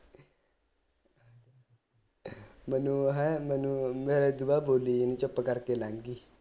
ਮੈਨੂੰ ਤਾਂ ਹੈ ਮੈਨੂੰ ਮੈਂ ਬੋਲੀ ਨੀ ਚੁੱਪ ਕਰ ਕੇ ਲੰਘ ਗਈ